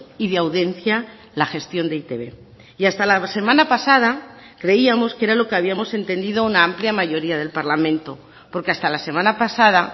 y de audiencia la gestión de e i te be y hasta la semana pasada creíamos que era lo que habíamos entendido una amplia mayoría del parlamento porque hasta la semana pasada